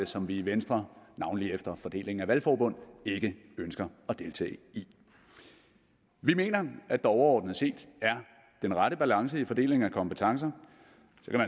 som vi i venstre navnlig efter fordelingen af valgforbund ikke ønsker at deltage i vi mener at der overordnet set er den rette balance i fordelingen af kompetencer